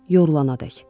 Yorulanadək.